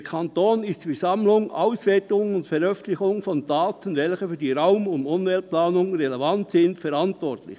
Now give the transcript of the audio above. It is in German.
«Der Kanton ist für die Sammlung, Auswertung und Veröffentlichung von Daten, welche für die Raum- und Umweltplanung relevant sind, verantwortlich.